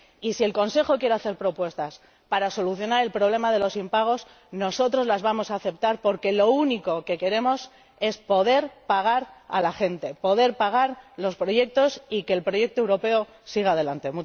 Y, si el Consejo quiere hacer propuestas para solucionar el problema de los impagos, nosotros las vamos a aceptar, porque lo único que queremos es poder pagar a la gente, poder pagar los proyectos y que el proyecto europeo siga adelante.